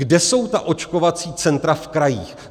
Kde jsou ta očkovací centra v krajích?